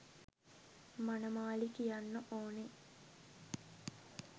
මනමාලි කියන්න ඕන.